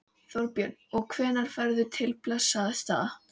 Þorbjörn: Og hvenær ferðu til Bessastaða?